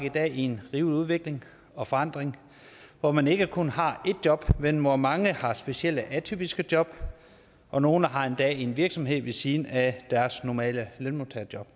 i dag i en rivende udvikling og forandring hvor man ikke kun har ét job men hvor mange har specielle atypiske job og nogle har endda en virksomhed ved siden af deres normale lønmodtagerjob